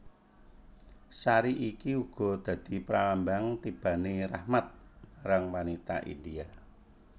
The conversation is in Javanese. Sari iki uga dadi pralambang tibane rahmat marang wanita India